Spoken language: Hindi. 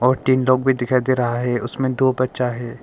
और तीन लोग भी दिखाई दे रहा है उसमें दो बच्चा है।